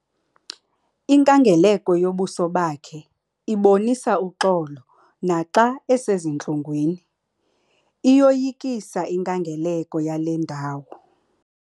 Inkangeleko yobuso bakhe ibonisa uxolo naxa esezintlungwini. iyoyikisa inkangeleko yale ndawo